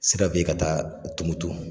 Sira bɛ ye ka taa Tɔmbukutu.